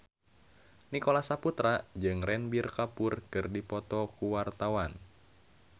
Nicholas Saputra jeung Ranbir Kapoor keur dipoto ku wartawan